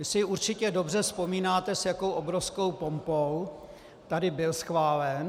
Vy si určitě dobře vzpomínáte, s jakou obrovskou pompou tady byl schválen.